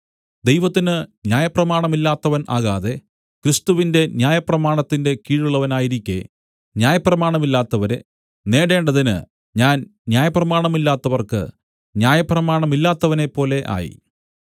ദൈവത്തിന് ന്യായപ്രമാണമില്ലാത്തവൻ ആകാതെ ക്രിസ്തുവിന്റെ ന്യായപ്രമാണത്തിന്റെ കീഴുള്ളവനായിരിക്കെ ന്യായപ്രമാണമില്ലാത്തവരെ നേടേണ്ടതിന് ഞാൻ ന്യായപ്രമാണമില്ലാത്തവർക്ക് ന്യായപ്രമാണമില്ലാത്തവനെപ്പോലെ ആയി